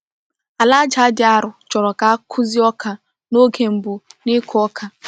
Ala aja dị arọ chọrọ ka a kụzie ọka n’oge mbụ n’ịkụ ọka.